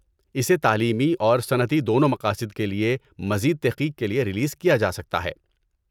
اسے تعلیمی اور صنعتی دونوں مقاصد کے لیے، مزید تحقیق کے لیے ریلیز کیا جا سکتا ہے۔